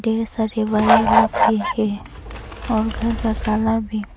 ये सभी वायर लोग भी है और घर का काला भी--